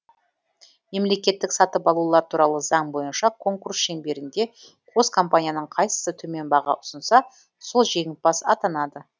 мемлекеттік сатып алулар туралы заң бойынша конкурс шеңберінде қос компанияның қайсысы төмен баға ұсынса сол жеңімпаз атанады